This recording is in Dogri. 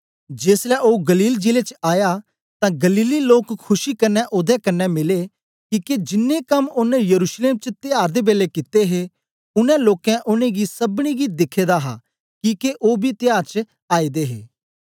जेसलै ओ गलील जिले च आया तां गलीली लोक खुशी कन्ने ओदे कन्ने मिले किके जिन्नें कम्म ओनें यरूशलेम च त्यार दे बेलै कित्ते हे उनै लोकें उनेंगी सबनी गी दिखे दा हा किके ओ बी त्यार च आए दे हे